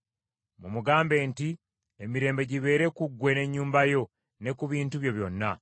Mumugambe nti, Emirembe gibeere ku ggwe n’ennyumba yo, ne ku bintu byo byonna.